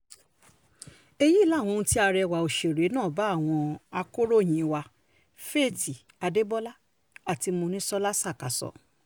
èyí làwọn ohun tí arẹwà òṣèré náà bá àwọn akòròyìn wa faith adebólá àti mòníṣọ́lá ṣàkà sọ